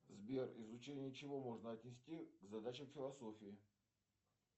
сбер изучение чего можно отнести к задачам философии